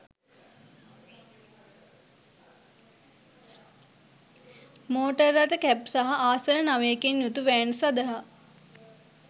motor රථ cab සහ ආසන නවයකින් යුතු වෑන් සඳහා